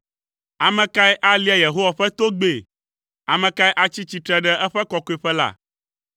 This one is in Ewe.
Ame kae alia Yehowa ƒe togbɛ? Ame kae atsi tsitre ɖe eƒe kɔkɔeƒe la?